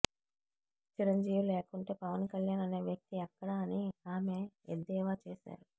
చిరంజీవి లేకుంటే పవన్ కళ్యాణ్ అనే వ్యక్తి ఎక్కడ అని ఆమె ఎద్దేవా చేశారు